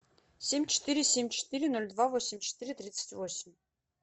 семь четыре семь четыре ноль два восемь четыре тридцать восемь